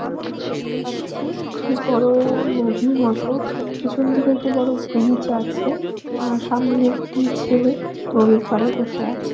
এখানে আমি দেখতে পাচ্ছি একটি বড়ো-ও নদী মতো পেছন দিকে ব্রিজ আছে আর সামনে একটি ছেলে নদী পারে বসে আছে।